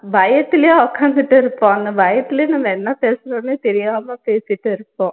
பயத்துலயே உக்காந்துட்டுருப்போம் அங்க பயத்துலேயே நம்ம என்ன பேசுறோன்னே தெரியாம பேசிட்டே இருப்போம்